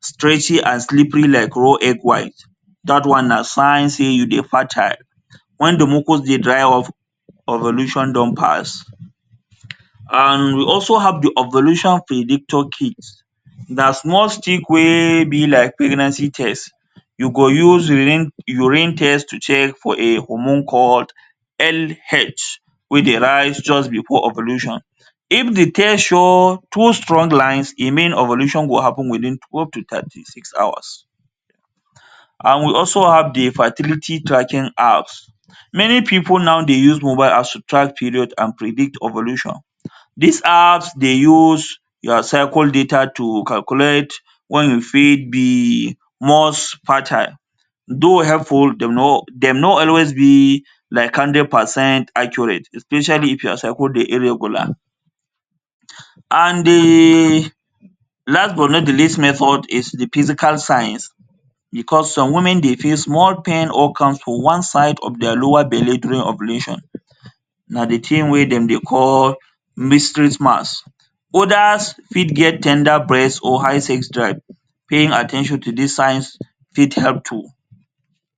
stretchy and slippery like raw egg white dat one na sign sey you dey fertile when dey mucus dey dry off ovulation don pass. And we also have dey ovulation prediction kit na small stick wey be like pregnancy test, u go use urine test to check for a hormone called LH wey dey rise just before ovulation if dey test show two strong lines e mean ovulation go happen within twelve to thirty six hours and we also have dey factility tracking apps- many pipul now dey use mobile apps to track period and predict ovulation. Dis apps dey use your cycle data to calculate when you fit be much fertile tho helpful dem no dem no always be like hundred percent accurate especially if your cycle dey irregular. And dey last but not dey least method is dey physical signs because some women dey feel small pain for one side of dia lower belle during ovulation na dey thing wey dem dey call mysteries max, others fit get ten der breast or high sex drive, paying at ten tion to dis signs fit help too.